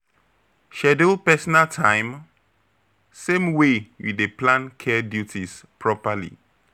Schedule personal time same way you dey plan care duties properly.